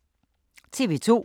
TV 2